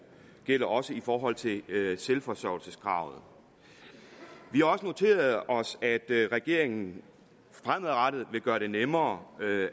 gælder også i forhold til selvforsørgelseskravet vi har også noteret os at regeringen fremadrettet vil gøre det nemmere